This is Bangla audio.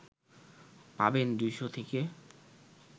পাবেন ২০০ থেকে